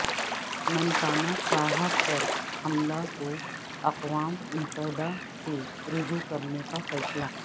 ننکانہ صاحب پر حملہ کو اقوام متحدہ سے رجوع کرنے کا فیصلہ